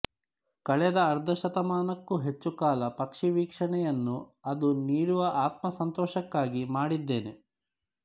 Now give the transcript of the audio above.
ಕಳೆದ ಅರ್ಧ ಶತಮಾನಕ್ಕೂ ಹೆಚ್ಚುಕಾಲ ಪಕ್ಷೀವೀಕ್ಷಣೆಯನ್ನು ಅದು ನೀಡುವ ಆತ್ಮಸಂತೋಷಕ್ಕಾಗಿ ಮಾಡಿದ್ದೇನೆ